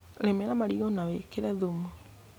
Rĩmĩra marigũ na wĩkĩre thumu.